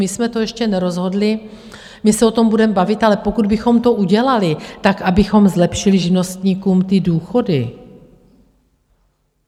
My jsme to ještě nerozhodli, my se o tom budeme bavit, ale pokud bychom to udělali, tak abychom zlepšili živnostníkům ty důchody.